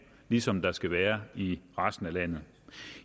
ligesom der skal være i resten af landet